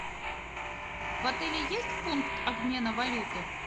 в отеле есть пункт обмена валюты